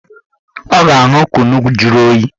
Ọ ga-aṅụ kunu juru oyi